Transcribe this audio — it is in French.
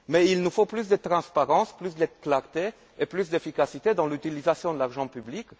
Il faut plus de transparence, plus de clarté et plus d'efficacité quant à l'utilisation de l'argent public.